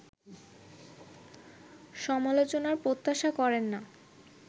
সমালোচনার প্রত্যাশা করেন না